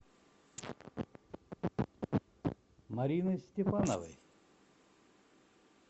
мариной степановой